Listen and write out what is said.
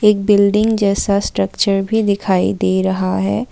Building जैसा structure भी दिखाई दे रहा है।